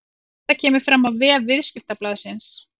Þetta kemur fram á vef Viðskiptablaðsins